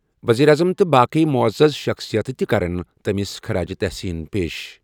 ؤزیٖرِ اعظم تہٕ باقٕے معزز شخصِیتہٕ تہِ کَرَن تٔمِس خراج تحسین پیش ۔